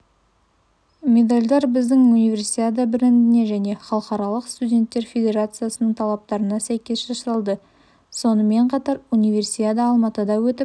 медальдар біздің универсиада брендіне және халықаралық студенттер федерациясының талаптарына сәйкес жасалды сонымен қатар универсиада алматыда өтіп